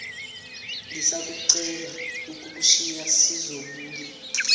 ngisacela ukukushiya sizobuye